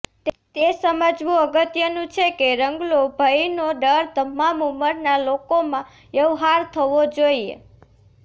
તે સમજવું અગત્યનું છે કે રંગલો ભયનો ડર તમામ ઉંમરના લોકોમાં વ્યવહાર થવો જોઈએ